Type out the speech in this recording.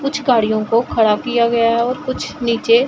कुछ गाड़ियों को खड़ा किया गया है और कुछ नीचे--